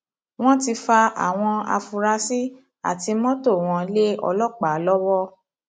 wọn ti fa àwọn afurasí àti mọtò àti mọtò wọn lé ọlọpàá lọwọ